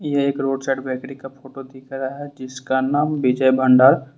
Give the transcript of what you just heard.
यह एक road side bakery photo दिख रहा है जिसका नाम विजय भंडार।